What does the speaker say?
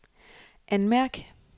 anmærk